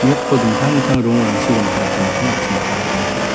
nokko dingtang dingtang rongrangchi rongtalataniko an·ching nikna gita man·a.